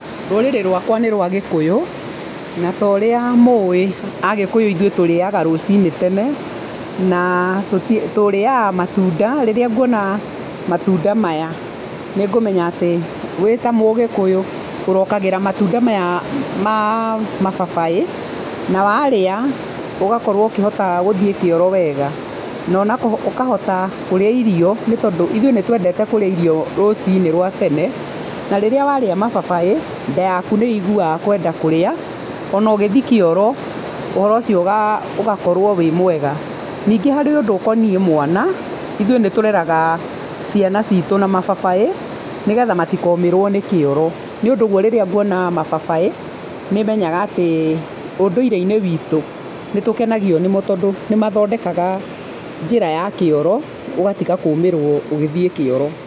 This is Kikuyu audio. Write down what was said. Rũrĩrĩ rwakwa nĩ rũa gĩkũyũ na ta ũrĩa mũĩ, Agĩkũyũ ithuĩ tũrĩaga rũcinĩ na tũrĩaga matunda. Rĩrĩa nguona nĩngũmenya atĩ wĩ ta mũgĩkũyũ ũrokagĩra matunda maya ma mababaĩ na warĩa ũgakorũo ũkĩhota gũthiĩ kĩoro wega na ona ũkahota kũrĩa irio nĩ tondũ ithuĩ nĩ twendete kũrĩa irio rũcinĩ rwa tene. Na rĩrĩa warĩa mababaĩ, nda yaku nĩ ĩiguaga kwenda kũrĩa ona ũgĩthiĩ kĩoro, ũhoro ũcio ũgakorũo wĩ mwega. Ningĩ nĩ harĩ ũndũ ũkoniĩ mwana, ithuĩ nĩ tũreraga ciana citũ na mababaĩ nĩgetha matikomĩrũo nĩ kĩoro. Nĩ ũndũ ũguo rĩrĩa nguona mababaĩ nĩ menyaga atĩ ũũndũire-inĩ witũ, nĩ mathondekaga njĩra ya kĩoro ũgatiga kũũmĩrũo ũgĩthiĩ kĩoro.